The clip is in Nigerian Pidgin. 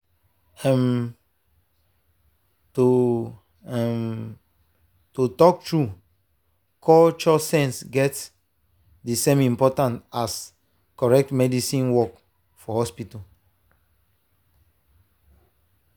um to um to talk true cultural sense get the same importance as correct medical work for hospital.